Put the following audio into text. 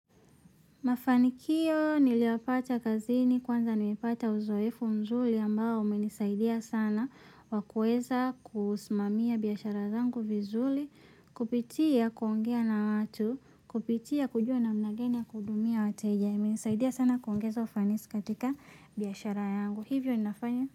Mafanikio niliyoyapata kazini kwanza nimepata uzoefu mzuri ambao umenisaidia sana wakuweza kusimamia biashara zangu vizuri kupitia kuongea na watu kupitia kujua namna gani ya kudumia wateja imenisaidia sana kuongeza ufanisi katika biashara yangu hivyo ninafanya.